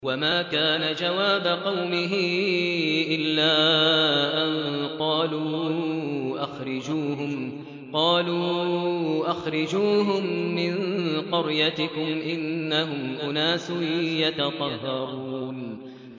وَمَا كَانَ جَوَابَ قَوْمِهِ إِلَّا أَن قَالُوا أَخْرِجُوهُم مِّن قَرْيَتِكُمْ ۖ إِنَّهُمْ أُنَاسٌ يَتَطَهَّرُونَ